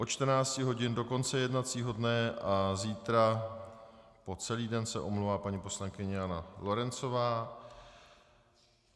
Od 14.00 hodin do konce jednacího dne a zítra po celý den se omlouvá paní poslankyně Jana Lorencová.